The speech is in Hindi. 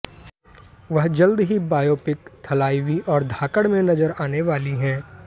वह जल्द ही बायोपिक थलाइवी और धाकड़ में नजर आने वाली हैं